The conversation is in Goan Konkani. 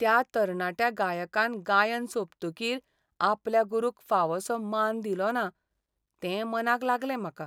त्या तरणाट्या गायकान गायन सोंपतकीर आपल्या गुरूक फावोसो मान दिलोना, तें मनाक लागलें म्हाका.